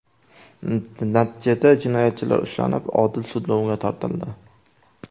Natijada jinoyatchilar ushlanib, odil sudlovga tortildi.